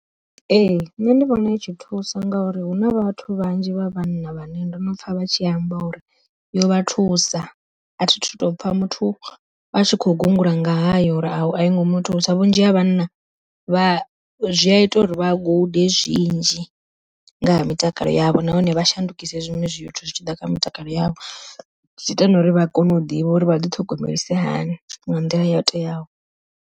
Ee nṋe ndi vhona i tshi thusa ngauri huna vhathu vhanzhi vha vhanna vhane ndo no pfha vha tshi amba uri yo vha thusa, athi thu to pfha muthu atshi kho gungula ngayo uri aingo muthusa vhunzhi ha vhana vha zwi a ita uri vha gude zwinzhi nga ha mitakalo yavho. Nahone vha shandukise zwiṅwe zwithu zwi tshi ḓa kha mutakalo yavho zwi ita na uri vha kone u ḓivha uri vha ḓi ṱhogomelisiwa hani nga nḓila yo teaho.